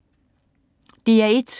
DR1